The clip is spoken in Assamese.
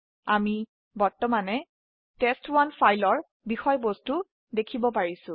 আমাি বৰ্তমানে টেষ্ট1 ফাইল ৰ বিষয়বস্তু দেখিব পাৰিছো